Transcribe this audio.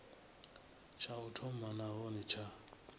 tsha u thoma nahone tsha